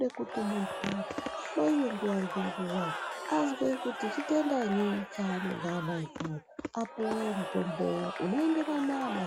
wekuti muntu Paine nguwa anzwe kuti chitendanyi apuwe mutombo unoenderana.